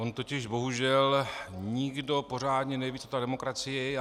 On totiž bohužel nikdo pořádně neví, co ta demokracie je.